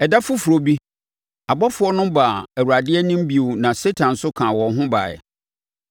Ɛda foforɔ bi, abɔfoɔ no baa Awurade anim bio na Satan nso kaa wɔn ho baeɛ.